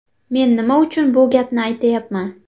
Men nima uchun bu gapni aytyapman?